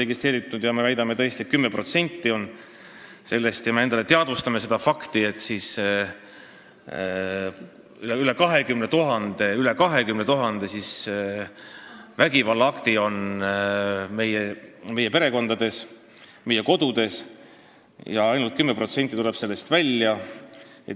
Kui me väidame, et see on 10% kõigist juhtumitest, siis me peame teadvustama endale fakti, et üle 20 000 vägivallaakti toimub meie perekondades, meie kodudes, ja ainult 10% nendest tuleb välja.